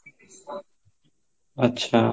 ଆଛା